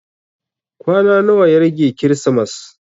Kwana nawa ya rage kirismas?